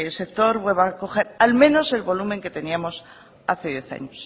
sector vuelva a coger al menos el volumen de que teníamos hace diez años